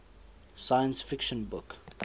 science fiction book